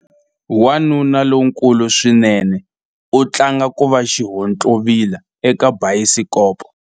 Wanuna lonkulu swinene u tlanga ku va xihontlovila eka bayisikopo.